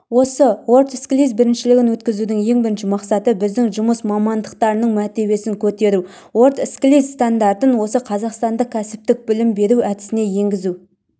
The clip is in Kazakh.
осы уордскиллз біріншілігін өткізудің ең бірінші мақсаты біздің жұмыс мамандықтарының мәртебесін көтеру уордскиллз стандарттарын осы қазақстандық кәсіптік білім беру әдісіне енгізу